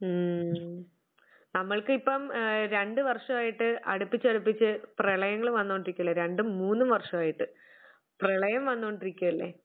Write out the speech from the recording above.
മ് നമ്മൾക്കിപ്പം ഏഹ് രണ്ടു വർഷമായിട്ട് അടുപ്പിച്ചടുപ്പിച്ച് പ്രളയങ്ങൾ വന്നുകൊണ്ടിരിക്കുകയല്ലേ രണ്ടും മൂന്നും വർഷമായിട്ട് പ്രളയം വന്ന് കൊണ്ടിരിക്കുകയല്ലേ?